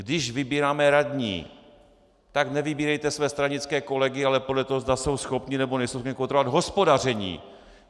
Když vybíráme radní, tak nevybírejte své stranické kolegy, ale podle toho, zda jsou schopni, nebo nejsou schopni kontrolovat hospodaření.